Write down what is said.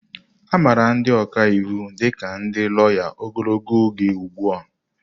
Amara ndị ọka iwu dị ka ndị lawya ogologo oge ugbu a.